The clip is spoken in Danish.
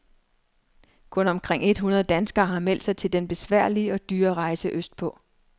Kun omkring et hundrede danskere har meldt sig til den besværlige og dyre rejse øst på.